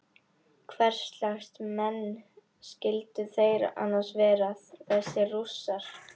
Hverslags menn skyldu þeir annars vera þessir Rússar?